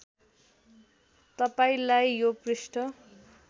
तपाईँलाई यो पृष्ठ